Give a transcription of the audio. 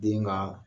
Den ka